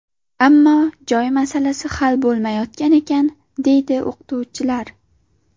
Ammo joy masalasi hal bo‘lmayotgan ekan, deydi o‘qituvchilar.